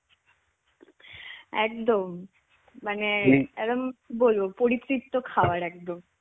একদম. মানে. একদম কি বলবো, পরিতৃপ্ত খাবার একদম.